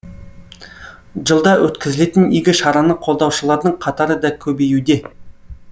жылда өткізілетін игі шараны қолдаушылардың қатары да көбеюде